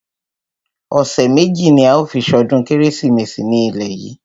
Ọ̀sẹ̀ méjì ní a ó fi ṣọdún kérésìmesì ní ilé yìí.